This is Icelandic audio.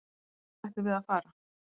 Hvert ættum við að fara?